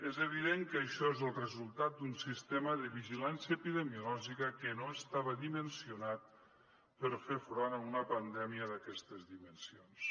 és evident que això és el resultat d’un sistema de vigilància epidemiològica que no estava dimensionat per fer front a una pandèmia d’aquestes dimensions